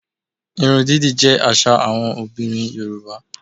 Irun dídì jẹ́ àṣà àwọn obìnrin Yorùbá